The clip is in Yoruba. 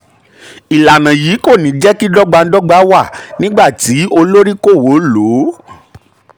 ìlànà yìí kò ní jẹ́ kí jẹ́ kí dọ́gbandọ́gba wà nígbà tí olóríkòwò lò ó.